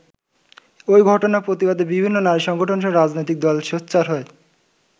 ওই ঘটনার প্রতিবাদে বিভিন্ন নারী সংগঠনসহ রাজনৈতিক দল সোচ্চার হয়।